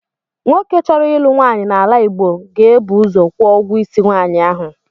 Nwoke chọrọ ịlụ nwaanyị n’ala Igbo ga-ebu ụzọ kwụọ ụgwọ isi nwaanyị ahụ.